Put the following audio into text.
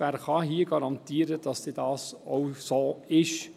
Wer kann hier garantieren, dass dies dann auch so ist?